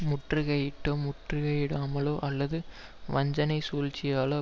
முற்றுகையிட்டோ முற்றுகையிடாமலோ அல்லது வஞ்சனைச் சூழ்ச்சியாலோ